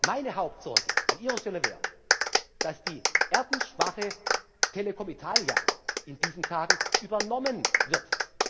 zu. Nur Meine Hauptsorge an Ihrer Stelle wäre, dass die ganz schwache Telecom Italia in diesen Tagen übernommen